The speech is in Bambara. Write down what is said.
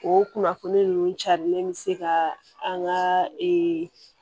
O kunnafoni ninnu carilen bɛ se ka an ka ee